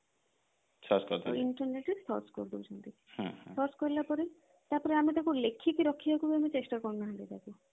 internet ରେ search କରି ଦଉଛନ୍ତି search କଲା ପରେ ତାପରେ ଆମେ ତାକୁ ଲେଖିକି ରଖିବାକୁ ବି ଚେଷ୍ଟା କରୁ ନାହାନ୍ତି ତାକୁ